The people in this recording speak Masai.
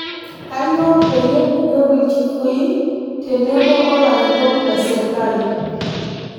Kanyio peyie kiyieu ilchfui tenebo olarikok le sirkali?